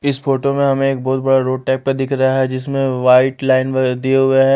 इस फोटो में हमें एक बहुत बड़ा रोड टाइप का दिख रहा है जिसमें वाइट लाइन व दिए हुए है।